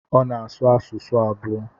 Ọ na-asụ asụsụ abụọ.